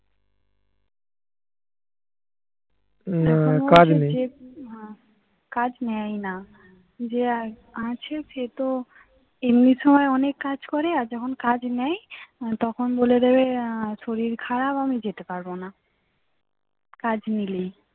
না কাজ নেয় ই না যে আছে সে তো এমনি সময় অনেক কাজ করে আর যখন কাজ নেয় তখন বলে দেবে আহ শরীর খারাপ আমি যেতে পারবো না কাজ নিলেই